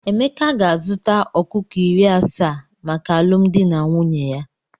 Emeka ga-azụta ọkụkọ iri asaa maka alụmdi na nwunye ya.